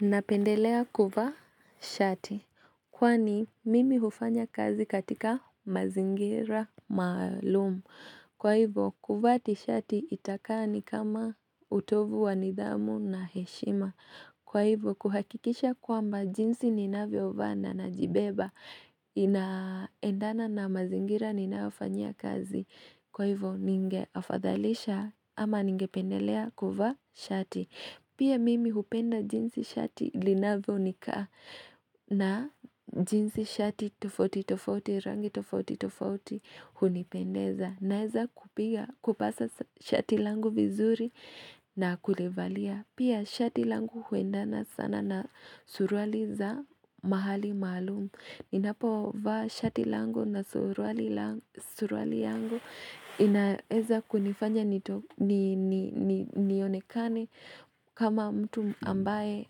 Napendelea kuvaa shati, kwani mimi hufanya kazi katika mazingira maalumu. Kwa hivo, kuvaa ti shati itakaa ni kama utovu wanidhamu na heshima. Kwa hivo, kuhakikisha kwamba jinsi ninavyo vaa na na jibeba, inaendana na mazingira ninayofanyia kazi. Kwa hivo, ninge afadhalisha ama ninge pendelea kuvaa shati. Pia mimi hupenda jinsi shati linavyonikaa na jinsi shati tofauti tofauti rangi tofauti tofauti hunipendeza naeza kupasa shati langu vizuri na kulivalia. Pia shati langu huenda na sana na suruali za mahali maalumu Ninapo vaa shati langu na suruali yangu inaeza kunifanya nionekane kama mtu ambaye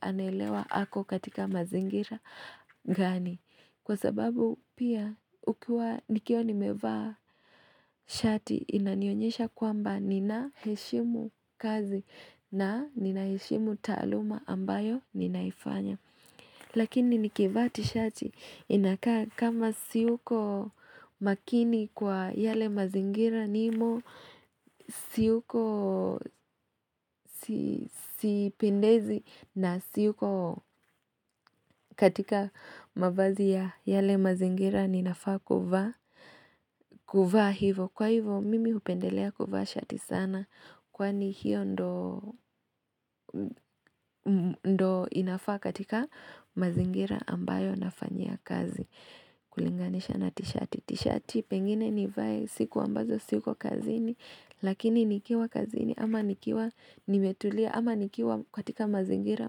anaelewa hako katika mazingira gani Kwa sababu pia ukiwa nikiwa nimevaa shati Inanionyesha kwamba ninaheshimu kazi na ninaheshimu taaluma ambayo ninaifanya Lakini nikivaa ti shati inakaa kama siuko makini kwa yale mazingira nimo Siuko sipendezi na siuko katika mavazi ya yale mazingira ninafaa kuvaa hivo Kwa hivo mimi upendelea kuvaa shati sana Kwani hiyo ndo inafaa katika mazingira ambayo nafanyia kazi kulinganisha na tishati Tishati pengine nivae siku ambazo siko kazi ni Lakini nikiwa kazi ni ama nikiwa nimetulia ama nikiwa katika mazingira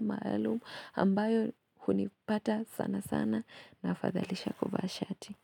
maalumu ambayo hunipata sana sana nafadhalisha kuvaa shati.